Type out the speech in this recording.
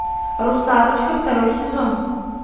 русалочка второй сезон